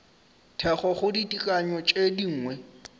thekgo go ditekanyo tše dingwe